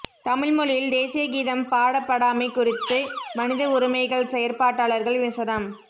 தமிழ் மொழியில் தேசிய கீதம் பாடப்படாமை குறித்து மனித உரிமைகள் செயற்பாட்டாளர்கள் விசனம்